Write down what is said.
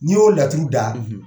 N'i y'o laturu da